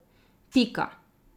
Pika!